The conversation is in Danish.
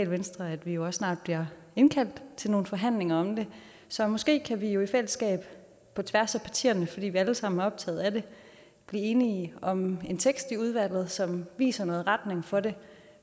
venstre at vi også snart bliver indkaldt til nogle forhandlinger om det så måske kan vi i fællesskab på tværs af partierne fordi vi alle sammen er optaget af det blive enige om en tekst i udvalget som viser en retning for det